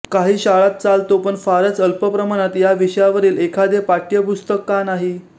काही शाळांत चालतो पण फारच अल्पप्रमाणात याविषयावरील एखादे पाठ्यपुस्तक का नाही